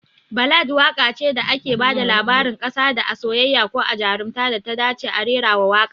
Ballad waƙa ce da ake bada labarin kasada a soyayya, ko a jarumta, da ta dace a rerawa waƙa